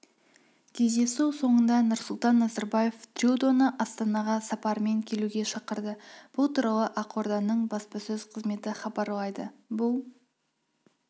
кездесу соңында нұрсұлтан назарбаев трюдоны астанаға сапармен келуге шақырды бұл туралы ақорданың баспасөз қызметі хабарлайды бұл